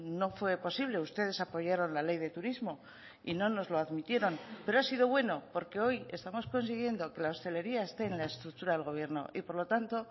no fue posible ustedes apoyaron la ley de turismo y no nos lo admitieron pero ha sido bueno porque hoy estamos consiguiendo que la hostelería esté en la estructura del gobierno y por lo tanto